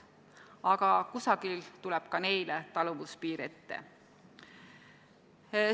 Aga kusagil tuleb ka neile taluvuspiir ette.